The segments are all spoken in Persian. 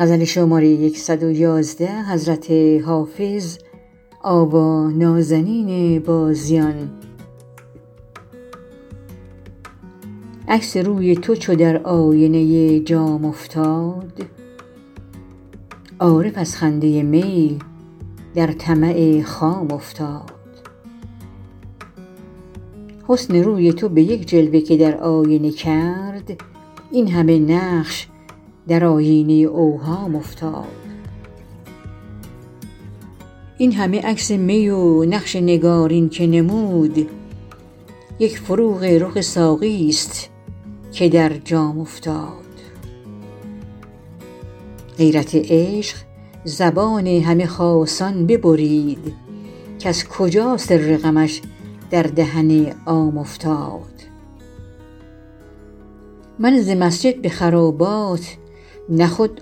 عکس روی تو چو در آینه جام افتاد عارف از خنده می در طمع خام افتاد حسن روی تو به یک جلوه که در آینه کرد این همه نقش در آیینه اوهام افتاد این همه عکس می و نقش نگارین که نمود یک فروغ رخ ساقی ست که در جام افتاد غیرت عشق زبان همه خاصان ببرید کز کجا سر غمش در دهن عام افتاد من ز مسجد به خرابات نه خود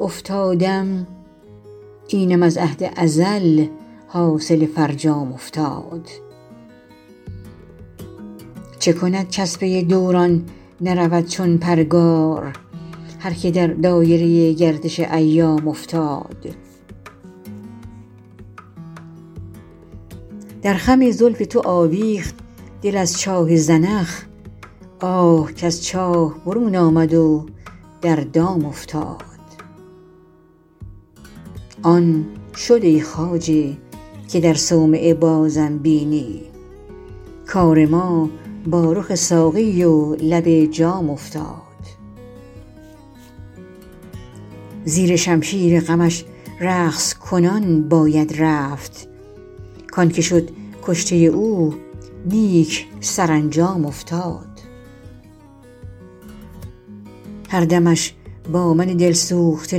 افتادم اینم از عهد ازل حاصل فرجام افتاد چه کند کز پی دوران نرود چون پرگار هر که در دایره گردش ایام افتاد در خم زلف تو آویخت دل از چاه زنخ آه کز چاه برون آمد و در دام افتاد آن شد ای خواجه که در صومعه بازم بینی کار ما با رخ ساقی و لب جام افتاد زیر شمشیر غمش رقص کنان باید رفت کـ آن که شد کشته او نیک سرانجام افتاد هر دمش با من دل سوخته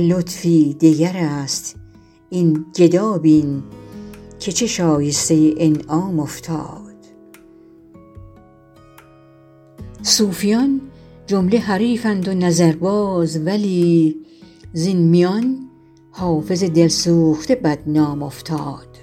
لطفی دگر است این گدا بین که چه شایسته انعام افتاد صوفیان جمله حریفند و نظرباز ولی زین میان حافظ دل سوخته بدنام افتاد